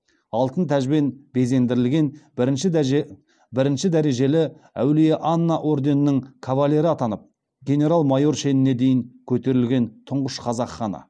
алтын тәжбен безендірілген бірінші дәрежелі әулие анна орденінің кавалері атанып генерал майор шеніне дейін көтерілген тұңғыш қазақ ханы